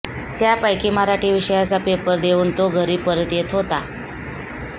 त्यापैकी मराठी विषयाचा पेपर देऊन तो घरी परत येत होता